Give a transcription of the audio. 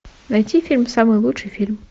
найти фильм самый лучший фильм